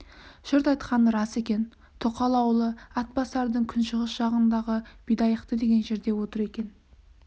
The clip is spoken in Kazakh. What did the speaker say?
жұрт айтқаны рас екен тоқал аулы атбасардың күншығыс жағындағы бидайықты деген жерде отыр екен